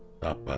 Tapmadın.